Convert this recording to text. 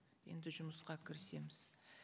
енді жұмысқа кірісеміз